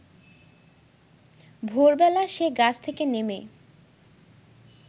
ভোরবেলা সে গাছ থেকে নেমে